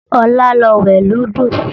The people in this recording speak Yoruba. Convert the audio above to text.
Ọlá lọ wẹ̀ lódò